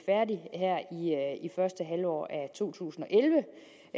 første halvår af to tusind og elleve